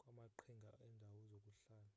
kwamaqhinga endawo zokuhlala